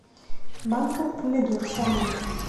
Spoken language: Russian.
банка помидор соленых